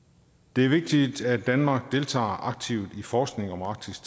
det er vigtigt at danmark deltager aktivt i forskningen om arktis